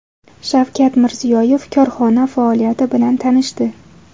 Shavkat Mirziyoyev korxona faoliyati bilan tanishdi.